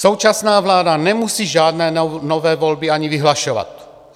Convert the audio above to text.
Současná vláda nemusí žádné nové volby ani vyhlašovat.